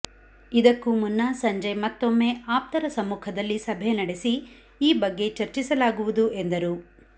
ಇದಕ್ಕೂ ಮುನ್ನ ಸಂಜೆ ಮತ್ತೊಮ್ಮೆ ಆಪ್ತರ ಸಮ್ಮುಖದಲ್ಲಿ ಸಭೆ ನಡೆಸಿ ಈ ಬಗ್ಗೆ ಚರ್ಚಿಸಲಾಗುವುದು ಎಂದರು